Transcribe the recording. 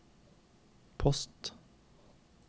post